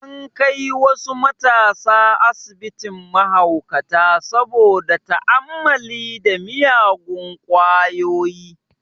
An kai wasu matasa asibitin mahaukata saboda ta'ammali da miyagun kwayoyi